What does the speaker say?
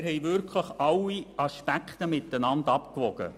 Wir haben wirklich alle Aspekte gegeneinander abgewogen.